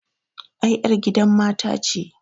Ai ƴar gidan mata ce